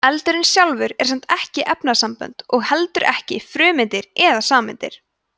eldurinn sjálfur er samt ekki efnasambönd og heldur ekki frumeindir eða sameindir